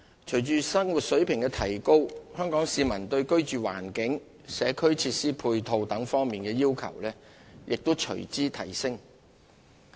隨着生活水平的提高，香港市民對居住環境、社區設施配套等方面的要求亦隨之提升。